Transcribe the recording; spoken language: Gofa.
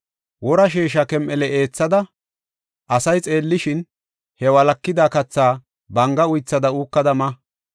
Wora sheesha kem7ele eethada, asay xeellishin, he walakida kathaa banga uythada uukada ma.